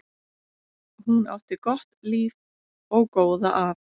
Hún átti gott líf og góða að.